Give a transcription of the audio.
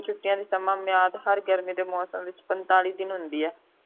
ਛੁਟੀਆਂ ਦੀ ਸਮਾਂ ਮੁਨਿਆਦ ਹਰ ਗਰਮੀ ਦੇ ਮੌਸਮ ਦੇ ਵਿਚ ਪਨਤਾਲੀ ਦਿਨ ਹੁੰਦੀ ਹੈ